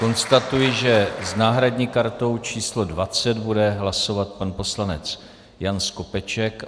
Konstatuji, že s náhradní kartou číslo 20 bude hlasovat pan poslanec Jan Skopeček.